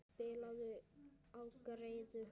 Spilaðu á greiðu.